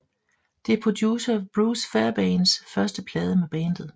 Det er producer Bruce Fairbairns første plade med bandet